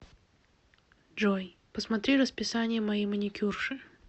джой посмотри расписание моей маникюрши